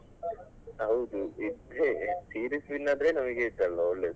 ಹೌದು ಇದ್ರೆ series win ಆದ್ರೆ ನಮಗೆ hit ಅಲ್ವಾ ಒಳ್ಳೇದು.